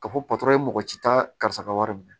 Ka fɔ patɔrɔn ye mɔgɔ si ta karisa ka wari minɛ